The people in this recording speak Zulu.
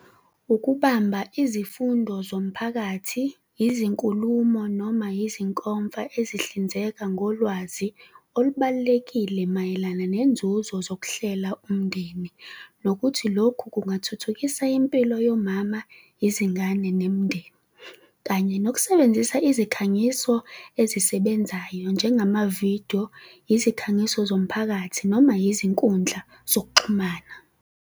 Ukubamba izifundo zomphakathi, izinkulumo noma yizinkomfa ezihlinzeka ngolwazi olubalulekile mayelana nenzuzo zokuhlela umndeni. Nokuthi lokhu kungathuthukisa impilo yomama, izingane nemindeni kanye nokusebenzisa izikhangiso ezisebenzayo njengamavidiyo, izikhangiso zomphakathi noma izinkundla zokuxhumana.